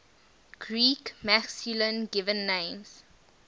greek masculine given names